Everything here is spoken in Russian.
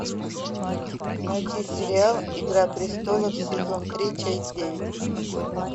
найти сериал игра престолов сезон три часть девять